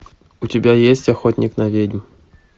у тебя есть охотник на ведьм